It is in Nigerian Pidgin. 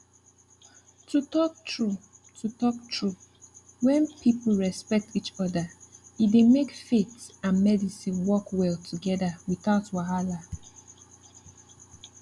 to talk true to talk true when people respect each other e dey make faith and medicine work well together without wahala